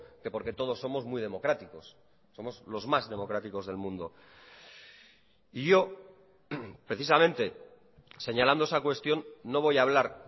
que porque todos somos muy democráticos somos los más democráticos del mundo y yo precisamente señalando esa cuestión no voy a hablar